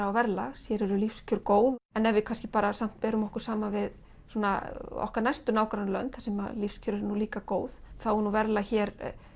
og verðlag hér eru lífskjör góð en ef við kannski samt berum okkur saman við svona okkar næstu nágrannalönd þar sem lífskjör eru nú líka góð þá er verðlag hér